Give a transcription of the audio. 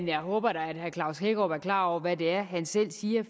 jeg håber da at herre klaus hækkerup er klar over hvad det er han selv siger